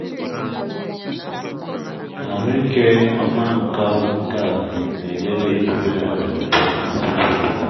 ahụike ọma nke ala na-enyere idobe ọrịa pụọ na ọtụtụ ugbo